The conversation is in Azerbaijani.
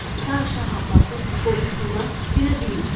Ta Şah Abbasın qorxusundan dinə bilmədi.